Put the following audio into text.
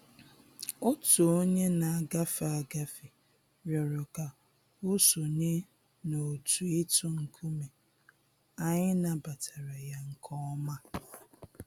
Otu onye na-agafe agafe rịọrọ ka o sonye n'otu ịtụ nkume, anyị nabatara ya nke ọma